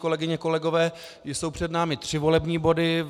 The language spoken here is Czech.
Kolegyně, kolegové, jsou před námi tři volební body.